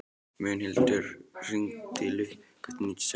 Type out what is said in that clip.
Mundhildur, hringdu í Lukku eftir níutíu og sex mínútur.